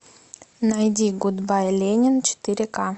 найди гудбай ленин четыре ка